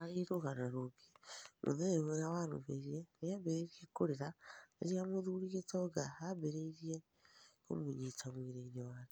Harĩ rũgano rũngĩ mũthenya ũrĩa warũmĩrĩire, nĩambĩrĩe kũrĩra rĩrĩaa mũthurĩ Gitonga ambĩrĩe kũmũnyĩta mwĩrĩ wake